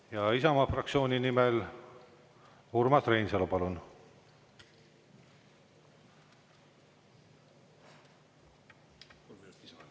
Ja Isamaa fraktsiooni nimel Urmas Reinsalu, palun!